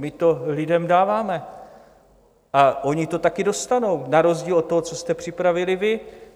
My to lidem dáváme a oni to taky dostanou na rozdíl od toho, co jste připravili vy.